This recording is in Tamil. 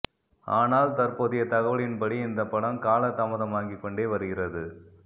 ஆனால் தற்போதைய தகவலின்படி இந்த படம் கால தாமதமாகி கொண்டே வருகிறது